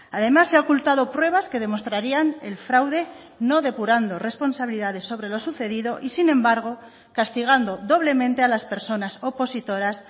además se ha ocultado pruebas que demostrarían el fraude no depurando responsabilidades sobre lo sucedido y sin embargo castigando doblemente a las personas opositoras